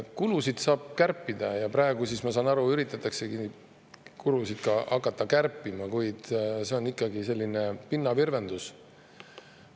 Kulusid saab kärpida ja praegu, ma saan aru, üritataksegi kulusid kärpima hakata, kuid see on ikkagi selline pinnavirvendus.